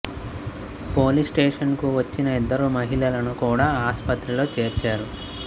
police station కు వచ్చిన ఇద్దరు మహిళలను కూడా ఆస్పత్రిలో చేర్చారు